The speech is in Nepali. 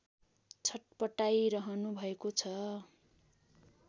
छट्पटाइरहनु भएको छ